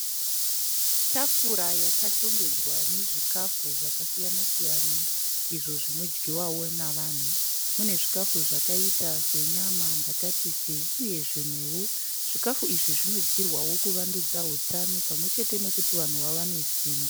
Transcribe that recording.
Tafura yakashongedzwa nezvikafu zvakasiyana-siyana izvo zvinodyiwawo navanhu. Mune zvikafu zvakaita senyama mbatatisi uye zvimwewo. Zvikafu izvi zvinodyirwawo kuwandudza utano pamwe chete nekuti vanhu wawane simba.